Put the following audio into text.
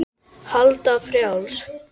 Alda frjáls.